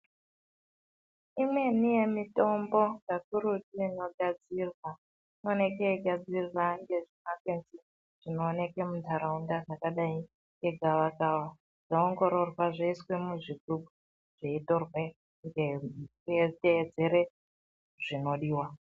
Imweni yemitombo yakurutu inigadzirwa. Inoonekwe yeigadzirwa ngezvimakwenzi zvinooneke munharaunda ,zvakadai ngegavakava, zvoongirorwa, zvoiswa muzvigubhu zveitorwe, mweitedzera zvinodiwa